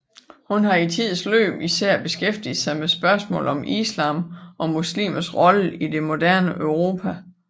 Hun har i tidens løb især beskæftiget sig med spørgsmålet om islams og muslimers rolle i det moderne Europa